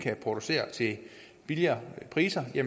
producere til billigere priser